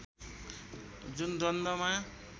जुन द्वन्द्वमा